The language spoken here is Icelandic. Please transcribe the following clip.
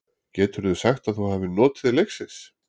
Geturðu sagt að þú hafir notið leiksins?